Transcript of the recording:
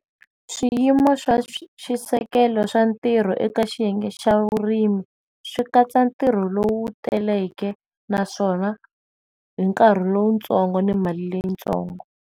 Swiyimo swa swi xi seketelo swa ntirho eka xiyenge xa vurimi swikatsa ntirho lowu teleke naswona hi nkarhi lowutsongo ni mali leyi ntsongo.